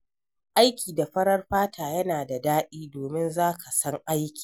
Aiki da farar fata yana da daɗi, domin za ka san aiki.